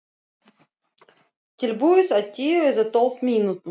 Tilbúið á tíu eða tólf mínútum.